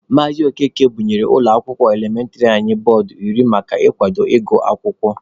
Maazị Okeke bunyere ụlọ akwụkwọ elementịrị anyị bọọdụ iri maka ikwado ịgụ akwụkwọ.